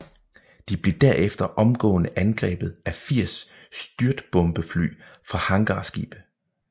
De blev derefter omgående angrebet af 80 styrtbombefly fra hangarskibe